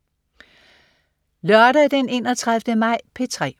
Lørdag den 31. maj - P3: